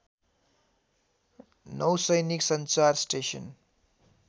नौसैनिक संचार स्टेसन